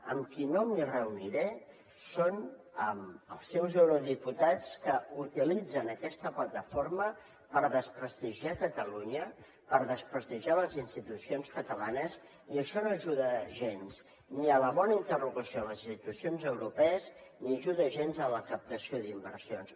amb qui no em reuniré és amb els seus eurodiputats que utilitzen aquesta plataforma per desprestigiar catalunya per desprestigiar les institucions catalanes i això no ajuda gens ni a la bona interlocució a les institucions europees ni ajuda gens a la captació d’inversions